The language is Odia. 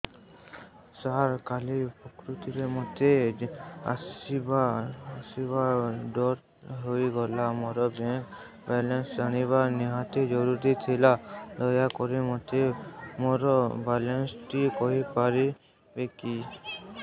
ସାର କାଲି ପ୍ରକୃତରେ ମୋର ଆସିବା ଡେରି ହେଇଗଲା ମୋର ବ୍ୟାଙ୍କ ବାଲାନ୍ସ ଜାଣିବା ନିହାତି ଜରୁରୀ ଥିଲା ଦୟାକରି ମୋତେ ମୋର ବାଲାନ୍ସ ଟି କହିପାରିବେକି